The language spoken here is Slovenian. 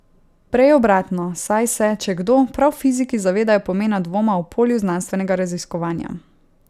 Prej obratno, saj se, če kdo, prav fiziki zavedajo pomena dvoma v polju znanstvenega raziskovanja.